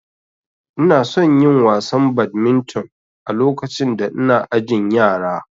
Inason yin wasan badminton a lokacin da ina ajin yara